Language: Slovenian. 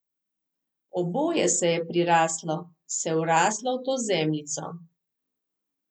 Oboje se je priraslo, se vraslo v to zemljico.